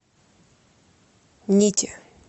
нити